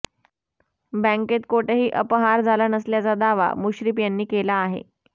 बँकेत कोठेही अपहार झाला नसल्याचा दावा मुश्रीफ यांनी केला आहे